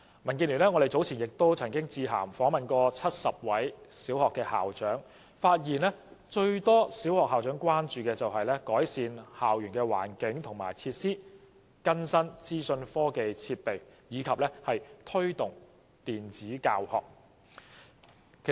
民建聯早前曾經致函訪問70位小學校長，發現最多小學校長關注的是改善校園環境或設施，更新資訊科技設備及推動電子教學。